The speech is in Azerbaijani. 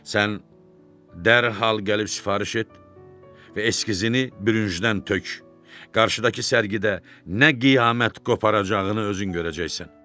Sən dərhal gəlib sifariş et və eskizini bürüncdən tök, qarşıdakı sərgidə nə qiyamət qoparacağını özün görəcəksən.